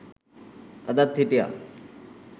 අදත් හිටියා